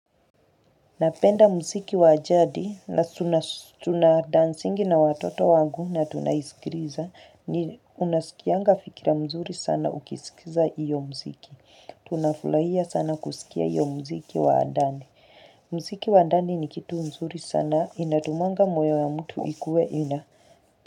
Napenda mziki wajadi na tuna dancingi na watoto wangu na tunaisikiliza ni unasikianga fikra mzuri sana ukisikiza hiyo muziki. Tunafurahia sana kusikia iyo mziki waandani. Mziki waandani ni kitu mzuri sana inatumanga moyo ya mtu ikueina.